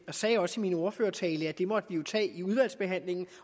jeg sagde også i min ordførertale at det måtte vi tage i udvalgsbehandlingen